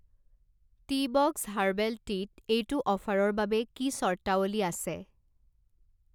Teabox herbal টিত এইটো অফাৰৰ বাবে কি চৰ্তাৱলী আছে?